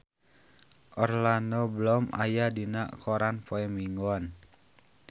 Orlando Bloom aya dina koran poe Minggon